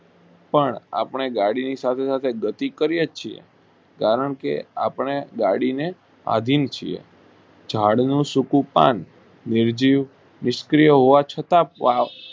પણ આપણે ગાડી સામે બેઠક કરીયે છીએ કારણ કે આપણે ગાડી ને આધીન છીએ ઝાડ નું સૂકું પાન નિર્જીવ નિષ્ક્રિય હોવા છતાં.